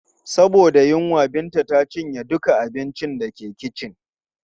Saboda yunwa, Binta ta cinye duka abincin da ke kicin.